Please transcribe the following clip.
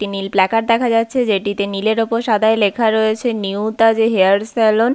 একটি নীল প্ল্যাকার্ড দেখা যাচ্ছে। যেটিতে নীলের ওপর সাদায় লেখা রয়েছে নিউ তাজ হেয়ার সেলন ।